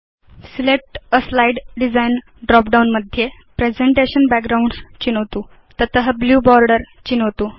select a slide design drop down मध्ये presentation backgrounds चिनोतु तत ब्लू बोर्डर चिनोतु